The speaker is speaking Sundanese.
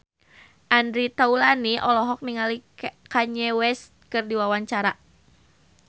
Andre Taulany olohok ningali Kanye West keur diwawancara